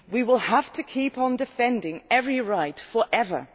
We will have to keep on defending every right forever.